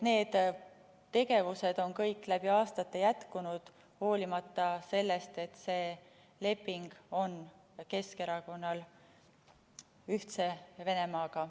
Need tegevused on kõik läbi aastate jätkunud, hoolimata sellest, et Keskerakonnal on see leping Ühtse Venemaaga.